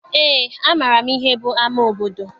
Eé, amaara m ihe bụ ama obodo.